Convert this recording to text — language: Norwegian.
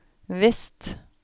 vest